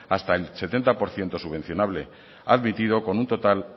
hasta el setenta por ciento subvencionable admitido con un total